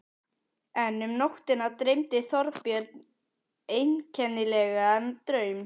En um nóttina dreymdi Þorbjörn einkennilegan draum.